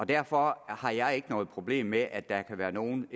derfor har jeg ikke noget problem med at der kan være nogle